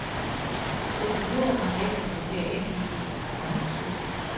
Det behøver man ikke, hvis det er indlysende, at man er syg.